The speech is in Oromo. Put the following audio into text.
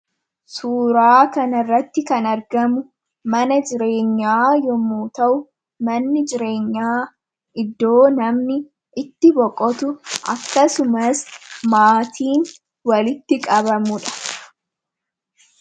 Suuraa kanarratti kan argamu mana jireenyaa yommuu ta'u, manni jireenyaa iddoo namni itti boqotu akkasumas maatiin walitti qabamu dha.